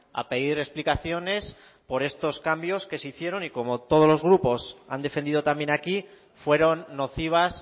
a pedir explicaciones por estos cambios que se hicieron y como todos los grupos han defendido también aquí fueron nocivas